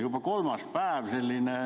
Juba kolmas päev.